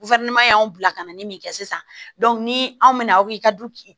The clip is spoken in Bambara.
y'an bila ka na ni min kɛ sisan ni anw mina aw ka du